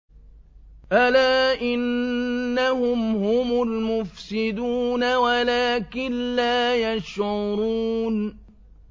أَلَا إِنَّهُمْ هُمُ الْمُفْسِدُونَ وَلَٰكِن لَّا يَشْعُرُونَ